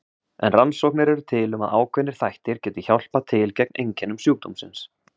En rannsóknir eru til um að ákveðnir þættir geti hjálpað til gegn einkennum sjúkdómsins.